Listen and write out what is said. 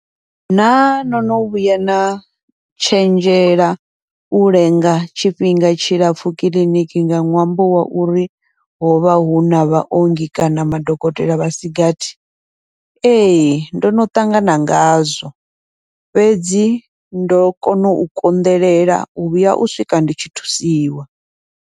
Naa nono vhuya na tshenzhela u lenga tshifhinga tshilapfhu kiḽiniki nga ṅwambo wa uri hovha huna vhaongi kana vha dokotela vhasigathi, ee ndono ṱangana ngazwo, fhedzi ndo kona u konḓelela u vhuya u swika ndi tshi thusiwa,